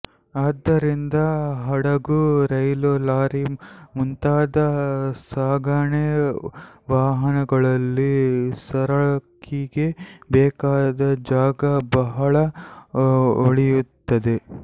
ಆದ್ದರಿಂದ ಹಡಗು ರೈಲು ಲಾರಿ ಮುಂತಾದ ಸಾಗಣೆ ವಾಹನಗಳಲ್ಲಿ ಸರಕಿಗೆ ಬೇಕಾದ ಜಾಗ ಬಹಳ ಉಳಿಯುತ್ತದೆ